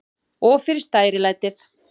Og fyrir stærilætið.